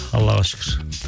аллаға шүкір